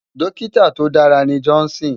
Dòkitá tó dàrá ni Johnson